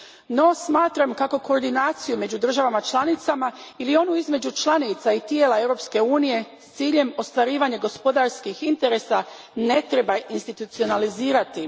No smatram kako koordinaciju među državama članicama ili onu između članica i tijela Europske unije s ciljem ostvarivanja gospodarskih interesa ne treba institucionalizirati.